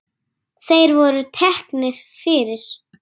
Þeir voru teknir fyrir.